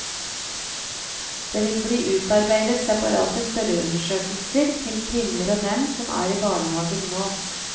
Det vil bli utarbeidet separate spørreundersøkelser til kvinner og menn som er i barnehagen nå.